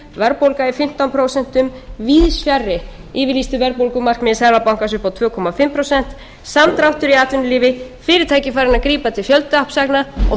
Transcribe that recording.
verðbólga í fimmtán prósent víðs fjarri yfirlýstu verðbólgumarkmiði seðlabankann upp á tvö og hálft prósent samdráttur í atvinnulífi fyrirtæki farin að grípa